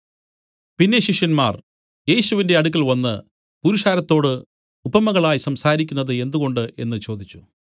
പിന്നെ ശിഷ്യന്മാർ യേശുവിന്റെ അടുക്കൽവന്ന് പുരുഷാരത്തോട് ഉപമകളായി സംസാരിക്കുന്നത് എന്തുകൊണ്ട് എന്നു ചോദിച്ചു